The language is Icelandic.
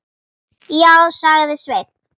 Já, sagði Sveinn.